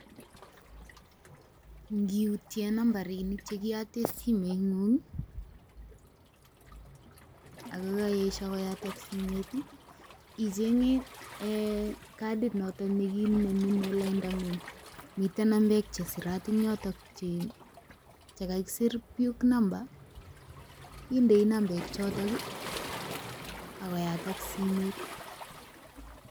Ngiutien nambarinik che kiyoten simeng'ung ii, ago koesho koyatak simet ii. Icheng'e katit noton ne kiinemunen laining'ng, miten nambek che sirat en yoton che kagisir PUK Number indei nambek choto agoyatak simet.